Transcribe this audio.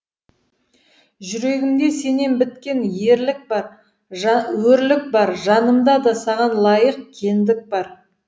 жүрегімде сенен біткен өрлік бар жанымда да саған лайық кеңдік бар